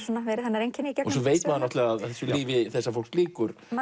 verið hennar einkenni gegnum söguna veit maður að lífi þessa fólks lýkur með